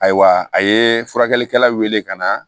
Ayiwa a ye furakɛlikɛla wele ka na